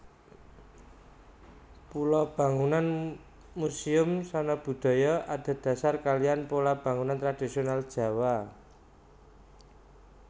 Pola bangunan Muséum Sanabudaya adhedasar kaliyan pola bangunan tradhisional Jawa